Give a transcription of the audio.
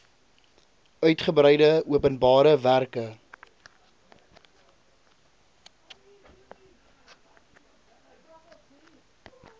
uitgebreide openbare werke